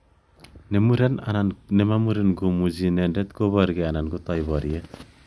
Ne muren anan ne ma muren ko muchi inanendet kubarkei ana kotoi boryet.